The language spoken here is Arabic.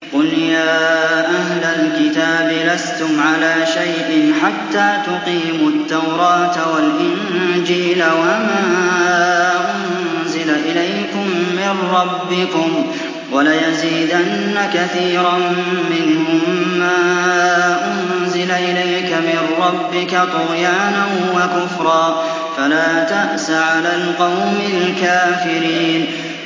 قُلْ يَا أَهْلَ الْكِتَابِ لَسْتُمْ عَلَىٰ شَيْءٍ حَتَّىٰ تُقِيمُوا التَّوْرَاةَ وَالْإِنجِيلَ وَمَا أُنزِلَ إِلَيْكُم مِّن رَّبِّكُمْ ۗ وَلَيَزِيدَنَّ كَثِيرًا مِّنْهُم مَّا أُنزِلَ إِلَيْكَ مِن رَّبِّكَ طُغْيَانًا وَكُفْرًا ۖ فَلَا تَأْسَ عَلَى الْقَوْمِ الْكَافِرِينَ